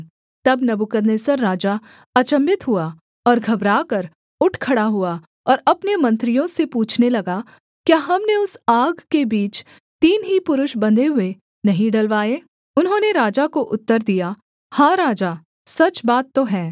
तब नबूकदनेस्सर राजा अचम्भित हुआ और घबराकर उठ खड़ा हुआ और अपने मंत्रियों से पूछने लगा क्या हमने उस आग के बीच तीन ही पुरुष बंधे हुए नहीं डलवाए उन्होंने राजा को उत्तर दिया हाँ राजा सच बात तो है